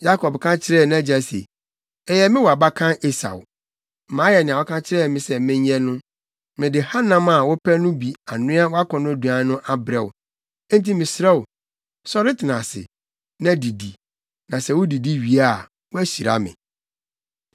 Yakob ka kyerɛɛ nʼagya se, “Ɛyɛ me wʼabakan Esau. Mayɛ nea woka kyerɛɛ me sɛ menyɛ no. Mede hanam a wopɛ no bi anoa wʼakɔnnɔduan no abrɛ wo, enti mesrɛ wo, sɔre tena ase, na didi, na sɛ wudidi wie a, woahyira me.”